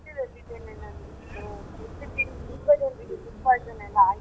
Hostel ಅಲ್ಲಿ ಇದ್ದೇನೆ ನಾನು ಇತ್ತೀಚಿಗೆ ಇಲ್ಲಿ ತುಂಬಾ ಜನ್ರಿಗೆ food poison ಎಲ್ಲಾ ಆಯ್ತು.